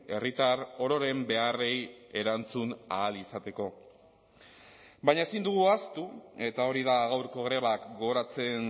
herritar ororen beharrei erantzun ahal izateko baina ezin dugu ahaztu eta hori da gaurko grebak gogoratzen